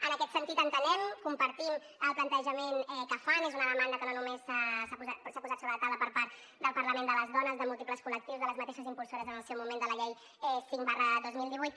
en aquest sentit entenem compartim el plantejament que fan és una demanda que no només s’ha posat sobre la taula per part del parlament de les dones de múltiples col·lectius de les mateixes impulsores en el seu moment de la llei cinc dos mil divuit